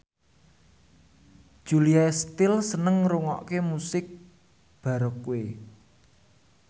Julia Stiles seneng ngrungokne musik baroque